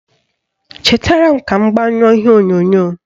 Chetara m ka m gbanyụọ ihe onyonyo